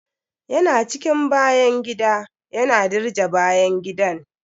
Ya na cikin bayan gida, yana dirje bayan gidan.